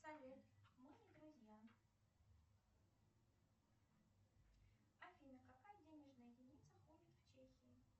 салют мы не друзья афина какая денежная единица ходит в чехии